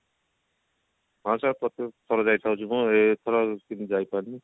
ହଁ sir ପ୍ରତ୍ୟକ ଥର ଯାଏ ଖରାଦିନ ଏଥର ଯାଇପାରିନି